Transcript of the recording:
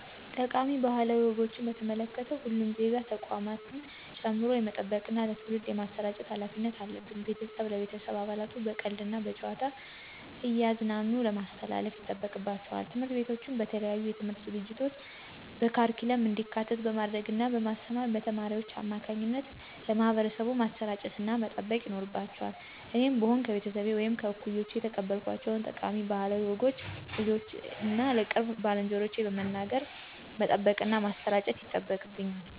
ጠቃሚ ባህላዊ ወጎችን በተመለከቱ ሁሉም ዜጋ ተቋማትን ጨምሮ የመጠበቅና ለትውልድ የማሰራጨት ሀላፊነት አለብን። ቤተሰብ ለቤተሰብ አባላቱ በቀልድ እና በጨዋታ እያዝናኑ ማስተላለፍ ይጠበቅባቸዋል። ትምህርት ቤቶችም በተለያዩ የትምህርት ዝግጅቶች በካሪኩለም እንዲካተት በማድረግ እና በማስተማር በተማሪዎች አማካኝነት ለማህበረሰቡ ማሰራጨትና መጠበቅ ይኖርባቸዋል እኔም ብሆን ከቤተሰቤ ወይም ከእኩዮቼ የተቀበልኳቸውን ጠቃሚ ባህላዊ ወጎችን ለልጆቼ እና ለቅርብ ባልንጀሮቼ በመንገር መጠበቅና ማሠራጨት ይጠበቅብኛል።